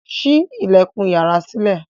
sí ilẹkùn iyàrá sílẹ